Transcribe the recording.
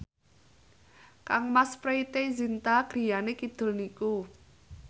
kangmas Preity Zinta griyane kidul niku